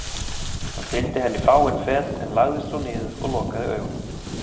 Hann fylgdi henni fáein fet en lagðist svo niður og lokaði augunum.